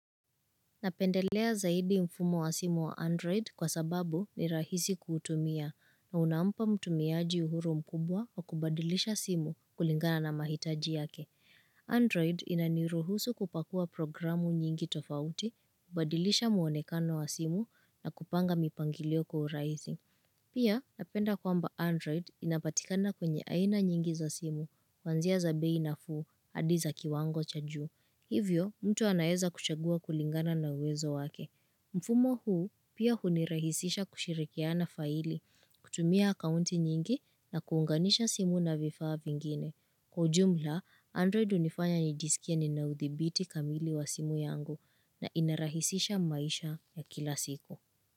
Napendelea zaidi mfumo wa simu wa Android kwa sababu ni rahisi kuutumia na unampa mtumiaji uhuru mkubwa wa kubadilisha simu kulingana na mahitaji yake. Android inaniruhusu kupakua programu nyingi tofauti, kubadilisha mwonekano wa simu na kupanga mipangilio kwa urahisi. Pia, napenda kwamba Android inapatikana kwenye aina nyingi za simu, kuanzia za bei nafuu, hadi za kiwango cha juu. Hivyo, mtu anaeza kuchagua kulingana na uwezo wake. Mfumo huu, pia hunirahisisha kushirikiana faili, kutumia akaunti nyingi na kuunganisha simu na vifaa vingine. Kwa ujumla, Android hunifanya nijisikie nina udhibiti kamili wa simu yangu na inarahisisha maisha ya kila siku.